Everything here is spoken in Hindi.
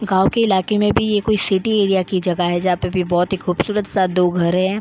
गांव की इलाके में भी ये कोई सिटी एरिया की जगह है जहां पे भी बहुत ही खूबसूरत सा दो घरे है।